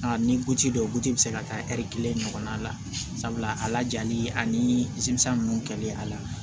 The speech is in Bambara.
A ni guti dɔ buti bi se ka taa kelen ɲɔgɔnna la sabula a lajali ani ninnu kɛli a la